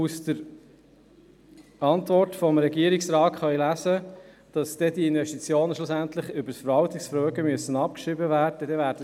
In der Antwort des Regierungsrates kann gelesen werden, dass die Investitionen schliesslich über das Verwaltungsvermögen abgeschrieben werden müssen.